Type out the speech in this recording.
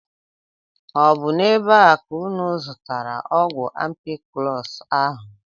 Ọ bụ n'ebe a ka unu zụtara ọgwụ ampiclọs ahụ?